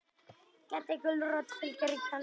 Gedda gulrót fylgir í kjölfarið.